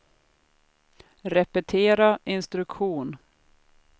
repetera instruktion